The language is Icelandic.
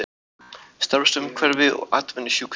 Starfsumhverfi og atvinnusjúkdómar.